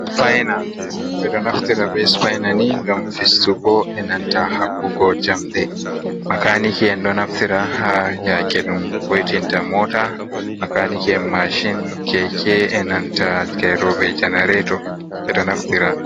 Supayna ɓe ɗo naftira be supayna ni, ngam fistuko e nanta haɓɓugo jamɗe. Makaniki'en ɗo naftira haa yaake ɗum vo'itinta moota, makaniki'en masin, keke e nanta geyroɓe janareeto ɓe ɗo naftira.